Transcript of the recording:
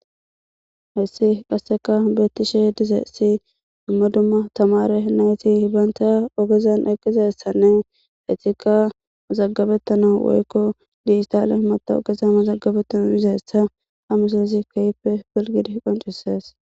Hayssi qasekka beettishe dizaytti dumma dumma tamaare nayti bantta oogezan eqqizayssanne eettikka mazagabetanaw woykko digitalle matawoqaza mazagabetana bizayssa ha misilezi keehippe qonccises